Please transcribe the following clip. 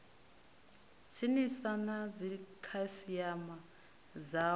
tsinisa na dzikhasiama dzao na